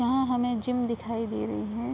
यहाँ हमें जिम दिखाई दे रही है।